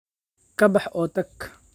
Ka bax oo tag.